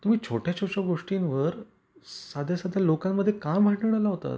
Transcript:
तुम्ही छोट्या छोट्या गोष्टींवर साध्या साध्या लोकांमध्ये का भांडण लावतात.